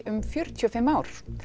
um fjörutíu og fimm ár